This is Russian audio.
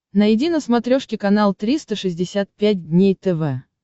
найди на смотрешке канал триста шестьдесят пять дней тв